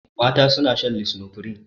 Mata suna shan lisinopril.